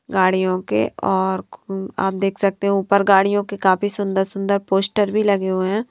गाड़ियों के और आप देख सकते हैं ऊपर गाड़ियों के काफ़ी सुंदर-सुंदर पोस्टर भी लगे हुए हैं।